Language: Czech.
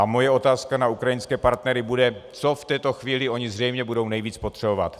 A moje otázka na ukrajinské partnery bude, co v této chvíli oni zřejmě budou nejvíc potřebovat.